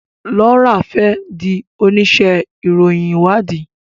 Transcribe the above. Laura fè dì onísé ìròyìn ìwádìí